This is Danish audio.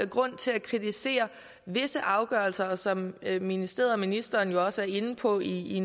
grund til at kritisere visse afgørelser som ministeriet og ministeren jo også er inde på i i